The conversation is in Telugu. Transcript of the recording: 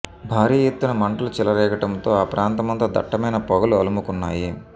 భారీ ఎత్తున మంటలు చెలరేగ టంతో ఆ ప్రాంతమంతా దట్టమైన పొగలు అలుము కున్నాయి